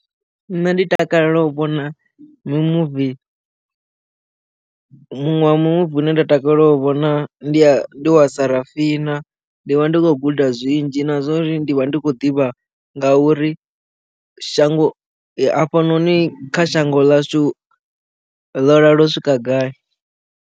Nṋe ndi takalela u vhona movie muṅwe wa muvi une nda takalela u vhona ndi wa sarafina ndi vha ndi khou guda zwinzhi na zwori ndi vha ndi khou ḓivha ngauri shango hafhanoni kha shango ḽashu ḽo lala u swika gai.